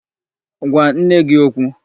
Gwa nne gị okwu!